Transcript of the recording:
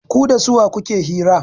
Ku da suwa kuke hira?